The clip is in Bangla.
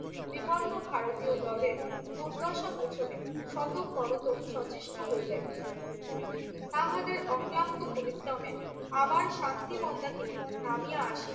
বিপন্ন ভারতীয় দলের দুর্দশা মোচনে স্বততপরত সচেষ্ট হইলেন। তাহাদের অক্লান্ত পরিশ্রমে আবার শান্তি মন্দাকিনী নামিয়া আসিল।